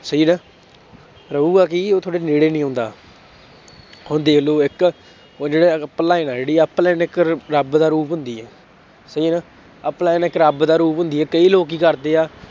ਸਹੀ ਨਾ ਰਹੇਗਾ ਕੀ ਉਹ ਤੁਹਾਡੇ ਨੇੜੇ ਨੀ ਆਉਂਦਾ ਹੁਣ ਦੇਖ ਲਓ ਇੱਕ ਉਹ ਜਿਹੜਾ ਰੱਬ ਦਾ ਰੂਪ ਹੁੰਦੀ ਹੈ ਸਹੀ ਹੈ ਨਾ ਇੱਕ ਰੱਬ ਦਾ ਰੂਪ ਹੁੰਦੀ ਹੈ ਕਈ ਲੋਕ ਕੀ ਕਰਦੇ ਆ